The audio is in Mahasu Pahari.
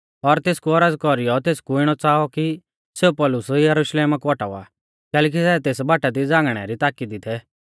और तेसकु औरज़ कौरीयौ तेसकु इणौ च़ाऔ कि सेऊ पौलुस यरुशलेमा कु औटावा कैलैकि सै तेस बाटा दी झ़ांगणै री ताकी दी थै